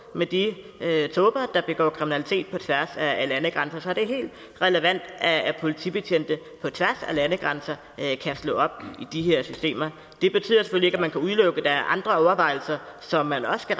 med de tåber der begår kriminalitet på tværs af landegrænser så det er helt relevant at politibetjente på tværs af landegrænser kan slå op i de her systemer det betyder selvfølgelig ikke at man kan udelukke at der er andre overvejelser som man også skal